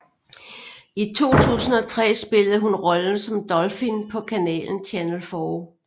I 2003 spillede hun rollen som Dolphin på kanalen Channel 4